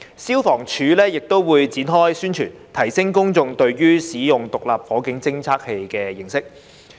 消防處亦會展開宣傳，提升公眾對使用獨立火警偵測器的認識。